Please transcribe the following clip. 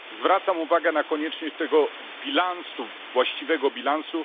Zwracam uwagę na konieczność tego bilansu, właściwego bilansu.